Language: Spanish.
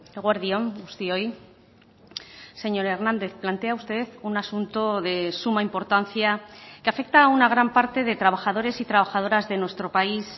eguerdi on guztioi señor hernández plantea usted un asunto de suma importancia que afecta a una gran parte de trabajadores y trabajadoras de nuestro país